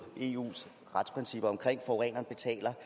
eus retsprincip om at forureneren betaler